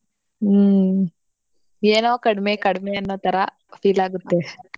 ಹ್ಮ್ ಏನೋ ಕಡ್ಮೆ ಕಡ್ಮೆ ಅನ್ನೋ ತರಾ feel ಆಗತ್ತೆ.